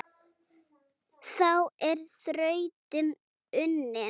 Þá er þrautin unnin